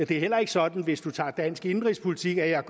det er heller ikke sådan hvis man tager dansk indenrigspolitik at jeg